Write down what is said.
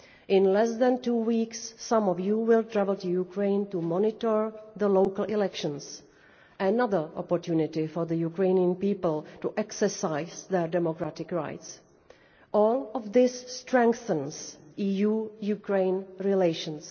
In less than two weeks, some of you will travel to Ukraine to monitor the local elections another opportunity for the Ukrainian people to exercise their democratic rights. All of this strengthens EU Ukraine relations.